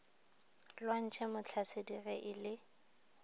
lwantšhwe motlhasedi ge e le